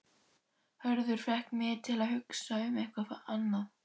Hörður fékk mig til að hugsa um eitthvað annað.